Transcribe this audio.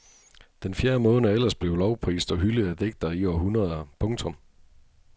Den fjerde måned er ellers blevet lovprist og hyldet af digtere i århundreder. punktum